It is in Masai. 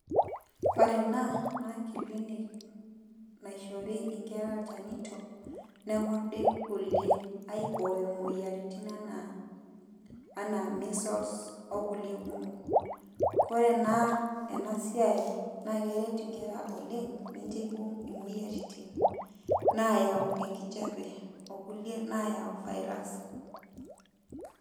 Ore ena, naa clinic naishori inkera ilchanito, nekordi kulie, aibooyo moyiaritin enaa, enaa measles, okulie kumok. Kore ena enasiai, naa keret inkera oleng', mincho ibung' imoyiaritin nayau enkijape, okulie nayau virus.